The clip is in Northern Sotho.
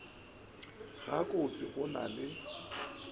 ga kotse go na le